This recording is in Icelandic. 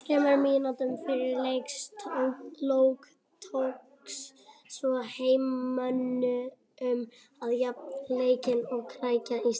Þremur mínútum fyrir leiks lok tókst svo heimamönnum að jafna leikinn og krækja í stig